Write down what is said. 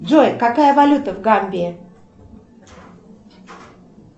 джой какая валюта в гамбии